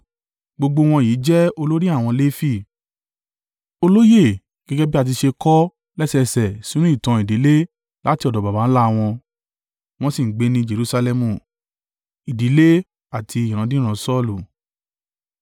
Gbogbo wọ̀nyí jẹ́ olórí àwọn Lefi, olóyè gẹ́gẹ́ bí a ti ṣe kọ lẹ́sẹẹsẹ sínú ìtàn ìdílé láti ọ̀dọ̀ baba ńlá wọn, wọ́n sì ń gbé ní Jerusalẹmu.